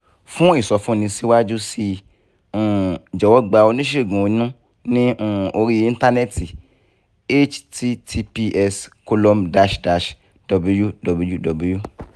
fún ìsọfúnni síwájú sí i um jọ̀wọ́ gba oníṣègùn inú ní um orí íńtánẹ́ẹ̀tì https colom dash dash wwww